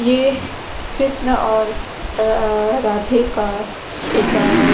ये कृष्ण और अअ राधे का एक अ --